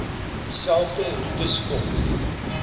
dieselfde roetes volg